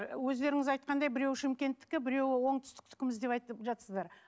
өздеріңіз айтқандай біреуі шымкенттікі біреуі оңтүстікіміз деп айтып жатырсыздар